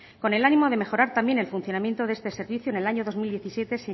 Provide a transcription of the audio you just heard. con el ánimo de mejorar también el funcionamiento de este servicio en el año dos mil diecisiete